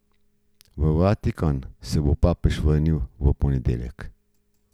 V Vatikan se bo papež vrnil v ponedeljek.